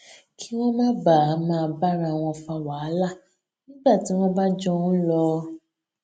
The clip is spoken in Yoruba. kí wón má baà máa bára wọn fa wàhálà nígbà tí wón bá jọ ń lò ó